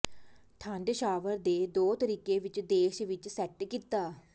ਠੰਢ ਸ਼ਾਵਰ ਦੇ ਦੋ ਤਰੀਕੇ ਵਿੱਚ ਦੇਸ਼ ਵਿੱਚ ਸੈੱਟ ਕੀਤਾ